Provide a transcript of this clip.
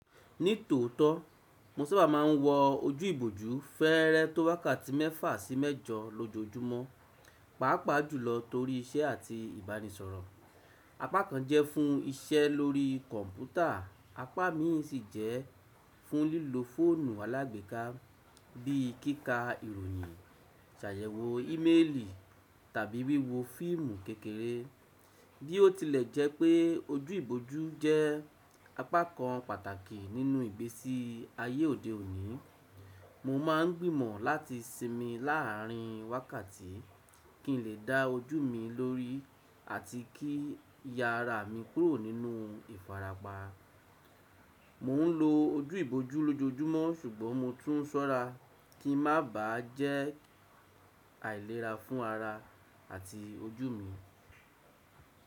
Ní tòótọ́, mo sábà má a ń wọ ojú ìbòjú fẹ́ẹ́rẹ́ tó wákàtí mẹ́fà sí mẹ́jọ lójojúmọ́, pàápàá jùlọ torí iṣẹ́ àti ìbánisọ̀rọ̀. Apá kan jẹ́ fún iṣẹ́ lórí kọ̀m̀pútà, apá mi sì jẹ́ fún lílo fóònù alágbèéká bí i kíkà ìròyìn, ṣàyẹ̀wò ímélì tàbí wíwo fíìmù kékeré. Bí ó tilẹ̀ jẹ́ pé ojú ìbòjú jẹ́ apá kan pàtàkì nínú ìgbésí ayé òde òní, mo má a ń gbìmọ̀ láti sinmi láàrin wákàtí kí n lè da ojú mi lórí àti kí yára mi kúrò nínú ìfarapa. Mò ń lo ojú ìbòjú lójojúmọ́ ṣùgbọ́n mo tún sọ́ra kí ń má bà á jẹ́ àìlera fún ara àti ojú mi.